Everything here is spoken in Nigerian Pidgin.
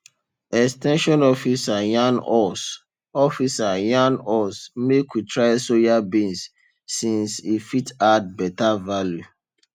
ex ten sion officer yarn us officer yarn us make we try soya beans since e fit add better value